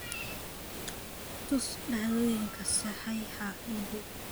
tus dhacdooyinka saxeexa ii dhow